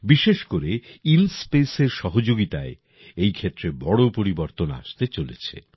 বিশেষ করে ইনস্পেসের সহযোগিতায় এই ক্ষেত্রে বড়ো পরিবর্তন আসতে চলেছে